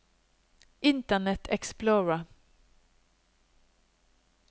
internet explorer